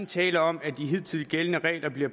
tale om at de hidtil gældende regler bliver